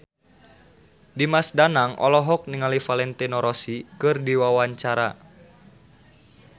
Dimas Danang olohok ningali Valentino Rossi keur diwawancara